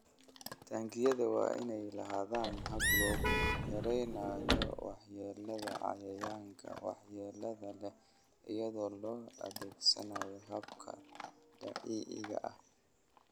Taangiyada waa inay lahaadaan habab lagu yareynayo waxyeelada cayayaanka waxyeelada leh iyadoo la adeegsanayo hababka dabiiciga ah.